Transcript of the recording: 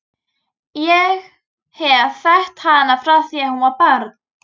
Ég hef þekkt hana frá því að hún var barn.